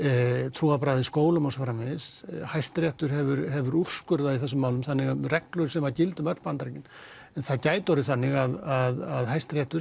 trúarbragða í skólum og svo framvegis Hæstiréttur hefur hefur úrskurðað í þessum málum reglur sem gilda um öll Bandaríkin en það gæti orðið þannig að Hæstiréttur